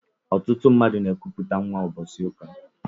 Ọtụtụ mmadụ n'ekuputa nwa ụbọchị ụka.